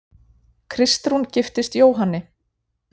Kristrún giftist Jóhanni